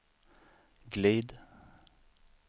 glid